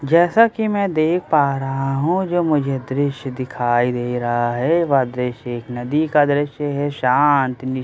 जैसा कि मैं देख पा रहा हूँ जो मुझे दृश्य दिखाई दे रहा है वह दृश्य एक नदी का दृश्य है शांत निश--